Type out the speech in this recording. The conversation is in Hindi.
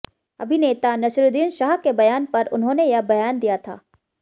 अभिनेता नसीरुद्दीन शाह के बयान पर उन्होंने यह बयान दिया था